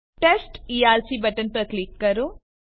test ERC button પર click કરો